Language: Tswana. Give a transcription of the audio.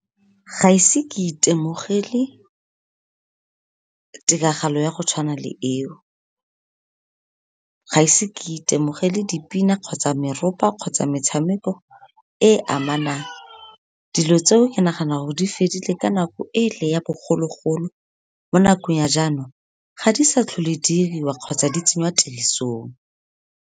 Ga ise ke itemogele tiragalo ya go tshwana le eo. Ga ise ke itemogele dipina, kgotsa meropa, kgotsa metshameko e e amanang, dilo tseo ke nagana gore di fedile ka nako e le ya bogologolo, mo nakong ya jaanong ga di sa tlhole diriwa kgotsa di tsengwa tirisong.